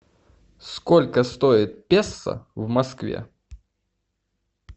сколько стоит песо в москве